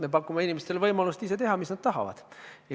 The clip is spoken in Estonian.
Me pakume inimestele võimalust teha seda, mida nad ise tahavad.